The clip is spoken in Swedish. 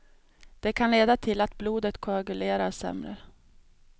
Det kan leda till att blodet koagulerar sämre.